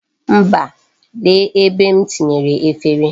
Mba, lee ebe m tinyere efere.